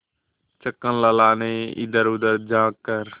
छक्कन लाल ने इधरउधर झॉँक कर